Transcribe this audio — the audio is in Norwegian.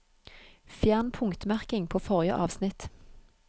Fjern punktmerking på forrige avsnitt